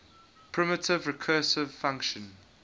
primitive recursive function